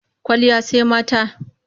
Kwalliya sai mata.